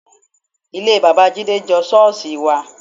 Ilé bàbá Jídé jọ ṣọ́ọ̀ṣì wa